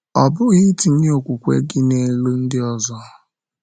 Ọ̀ bụghị itinye okwukwe gị n’elu ndị ọzọ?